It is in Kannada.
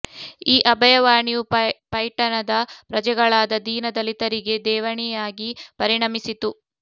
ಈ ಅಭಯ ವಾಣಿಯು ಪೈಠಣದ ಪ್ರಜೆಗಳಾದ ದೀನ ದಲಿತರಿಗೆ ದೇವಣಿಯಾಗಿ ಪರಿಣಮಿಸಿತು